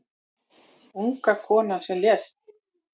Unga konan sem lést